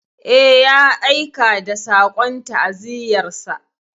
Eh, ya aika da saƙon ta'aziyyarsa.